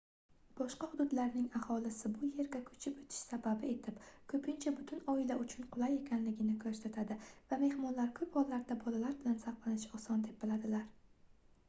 boshqa hududlarning aholisi bu yerga koʻchib oʻtish sababi etib koʻpincha butun oila uchun qulay ekanligini koʻrsatadi va mehmonlar koʻp hollarda bolalar bilan zavqlanish oson deb biladilar